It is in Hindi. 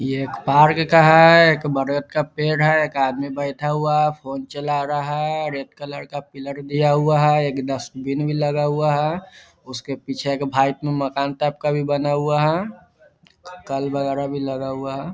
यह एक पार्क का है एक बरगद का पेड़ है एक आदमी बैठा हुआ है फ़ोन चला रहा है रेड कलर का पिलर दिया हुआ है एक डस्टबिन भी लगा हुआ है उसके पीछे एक भाईट मकान टाइप का भी बना हुआ है कल वगैरा भी लगा हुआ है।